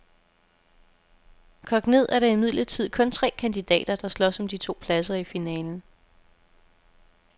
Kogt ned er der imidlertid kun tre kandidater, der slås om de to pladser i finalen.